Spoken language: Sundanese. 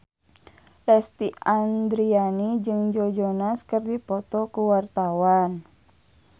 Lesti Andryani jeung Joe Jonas keur dipoto ku wartawan